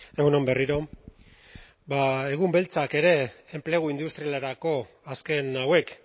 kaixo egun on egun beltzak ere enplegu industrialerako azken hauek